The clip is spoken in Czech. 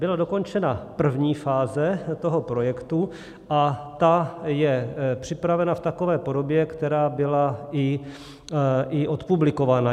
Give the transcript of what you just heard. Byla dokončena první fáze toho projektu a ta je připravena v takové podobě, která byla i odpublikována.